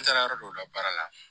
N taara yɔrɔ dɔw la baara la